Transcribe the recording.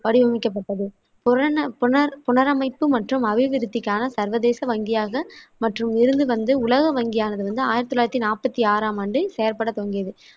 வடிவமைக்கப்பட்டது. புரன புன புனரமைப்பு மற்றும் அபிவிருத்திக்கான சர்வதேச வங்கியாக மட்டும் இருந்து வந்து உலக வங்கியானது வந்து ஆயிரத்தி தொள்ளாயிரத்தி நாப்பத்தி ஆறாம் ஆண்டு செயற்படத் தொடங்கியது.